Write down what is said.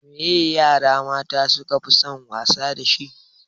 Me ye yara mata su kafi son wasa dashi?